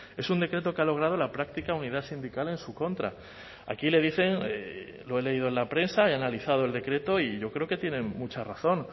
es un decreto que ha logrado la práctica unidad sindical en su contra aquí le dicen lo he leído en la prensa y analizado el decreto y yo creo que tienen mucha razón